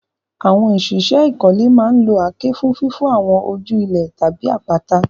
Àwọn òṣìṣẹ́ ìkọ́lé máa ń lo àáké fún fífọ́ àwọn ojú líle tàbí àpáta.